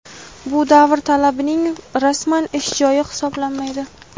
Bu davr talabaning rasman ish joyi hisoblanmaydi.